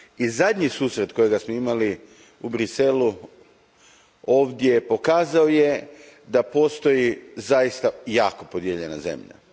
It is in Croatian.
i zadnji susret koji smo imali u Bruxellesu ovdje pokazao je da postoji zaista jako podijeljena zemlja.